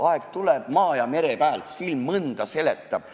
Aeg tuleb, maa ja mere pääl silm mõnda seletab.